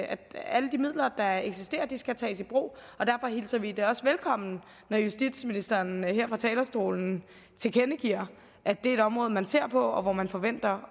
at alle de midler der eksisterer skal tages i brug og derfor hilser vi det også velkommen når justitsministeren her fra talerstolen tilkendegiver at det er et område man ser på og hvor man forventer